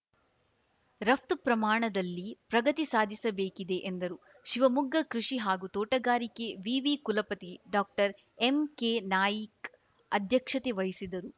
ರಫ್ತು ಪ್ರಮಾಣದಲ್ಲಿ ಪ್ರಗತಿ ಸಾಧಿಸಬೇಕಿದೆ ಎಂದರು ಶಿವಮೊಗ್ಗ ಕೃಷಿ ಹಾಗೂ ತೋಟಗಾರಿಕೆ ವಿವಿ ಕುಲಪತಿ ಡಾಕ್ಟರ್ಎಂಕೆನಾಯಿಕ್ ಅಧ್ಯಕ್ಷತೆ ವಹಿಸಿದರು